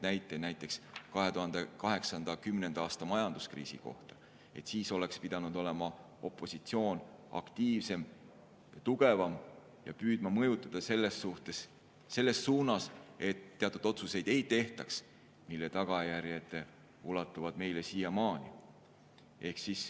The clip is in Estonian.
Näiteks 2008. ja 2010. aasta majanduskriisi ajal oleks pidanud olema opositsioon aktiivsem, tugevam ja püüdma mõjutada selles suunas, et ei tehtaks teatud otsuseid, mille tagajärjed ulatuvad meile siiamaani.